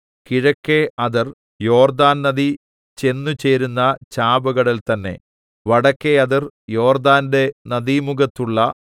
കിഴക്കെ അതിർ യോർദ്ദാൻ നദി ചെന്നുചേരുന്ന ചാവുകടൽ തന്നേ വടക്കെ അതിർ യോർദ്ദാന്റെ നദീമുഖത്തുള്ള